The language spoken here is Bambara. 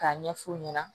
K'a ɲɛf'u ɲɛna